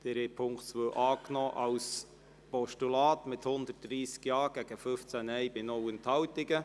Sie haben den Punkt 2 als Postulat angenommen mit 130 Ja- gegen 15 Nein-Stimmen bei 0 Enthaltungen.